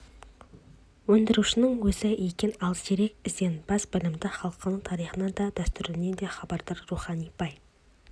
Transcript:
өндірушінің өзі екен ал зерек ізденімпаз білімді халқының тарихынан да дәстүрінен де хабардар рухани бай